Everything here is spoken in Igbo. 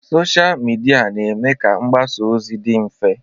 Sochịa midia na-eme ka mgbasa ozi dị mfe.